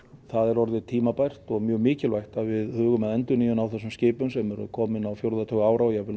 það er orðið tímabært og mjög mikilvægt að við hugum að endurnýjun á þessum skipum sem eru komin á fjórða tug ára og jafnvel um